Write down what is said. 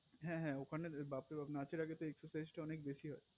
হে হে ওখানে তো ব্যাপারে বাপ্ নাচের আগে তো excharsaized টা অনেক বেশি হয়